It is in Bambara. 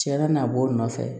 Tiɲɛna a b'o nɔfɛ